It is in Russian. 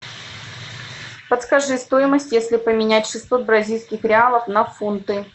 подскажи стоимость если поменять шестьсот бразильских реалов на фунты